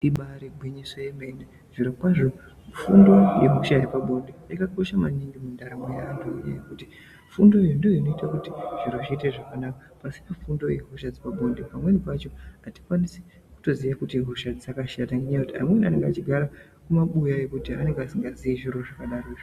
Ibari gwinyiso yemene zviro kwazvo fundo yehosha dzepabonde yakakosha maningi mundaramo yaantu ngenyaya yekuti fundoyo ndoinoite kuti zviro zviite zvakanaka pasina fundoyo hosha dzepabonde pamweni pacho atikwanisi kutoziya kuti hosha idzi dzakashata ngenyaya yekuti amweni anenge achigara kumabuya kwekuti anenga asikazii zviro zvakadarozvo.